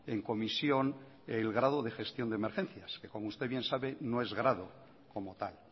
en comisión el grado de gestión de emergencias que como usted bien sabe no es grado como tal